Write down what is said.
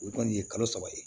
O kɔni ye kalo saba ye